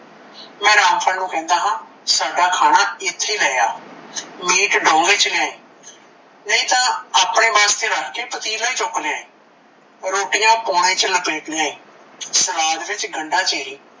ਮੈ ਰਾਮਪਾਲ ਨੂੰ ਕਹਿੰਦਾ ਹਾਂ ਸਾਡਾ ਖਾਣਾ ਏਥੇ ਲੈ ਆ meat ਡੋਂਗੇ ਚ ਲੇਆਈ, ਨਹੀਂ ਤਾਂ ਆਪਣੇ ਵਾਸਤੇ ਰੱਖ ਕੇ ਪਤੀਲਾ ਈ ਚੁੱਕ ਲੈਆਈ, ਰੋਟਿਆ ਪੋਣੇ ਚ ਲਪੇਟਿਆ ਈ, ਸਲਾਦ ਵਿੱਚ ਗੰਡਾ ਚੀਰੀ,